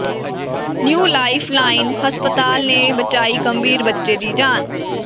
new life line ਹਸਪਤਾਲ ਨੇ ਬਚਾਈ ਗੰਭੀਰ ਬੱਚੇ ਦੀ ਜਾਨ